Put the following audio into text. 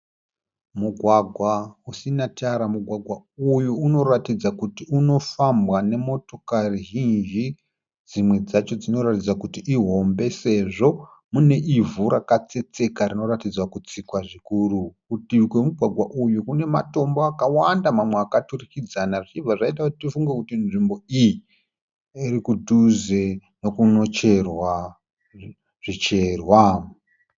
Mugwagwa usina tara. Mugwagwa uyu inoratidza kuti unofambwa nemotokari zhinji, dzimwe dzacho dzinoratidza kuti ihombe sezvo muine ivhu rakatsetseka rinoratidza kutsikwa zvikuru. Kurutivi kwemugwagwa uyu kune matombo akawanda mamwe akaturikidzana zvichibva zvaita kuti tifunge kuti nzvimbo iyi iri kudhuze nekunocherwa zvicherwa